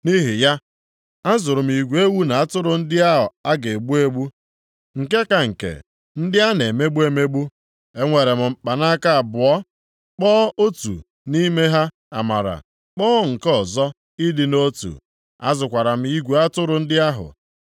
Nʼihi ya, azụrụ m igwe ewu na atụrụ ndị ahụ a ga-egbu egbu, nke ka nke, ndị ahụ a na-emegbu emegbu. Eweere m mkpanaka abụọ, kpọọ otu nʼime ha Amara, kpọọ nke ọzọ Ịdị nʼotu. Azụkwara m igwe atụrụ ndị ahụ.